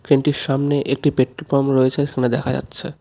ক্রেনটির সামনে একটি petrol pump রয়েছে সামনে দেখা যাচ্ছে.